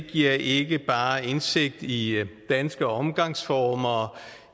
giver ikke bare indsigt i danske omgangsformer og